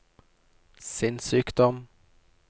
sinnssykdom